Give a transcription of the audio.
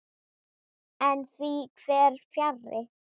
En því fer fjarri.